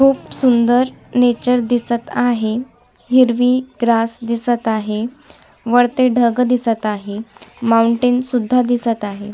खूप सुंदर नेचर दिसत आहे हिरवी ग्रास दिसत आहे वरती ढग दिसत आहे माऊंटेन सुद्धा दिसत आहे.